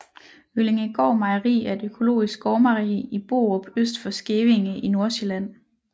Øllingegaard Mejeri er et økologisk gårdmejeri i Borup øst for Skævinge i Nordsjælland